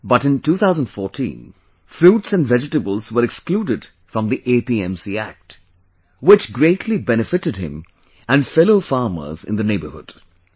But, in 2014, fruits and vegetables were excluded from the APMC Act, which, greatly benefited him and fellow farmers in the neighborhood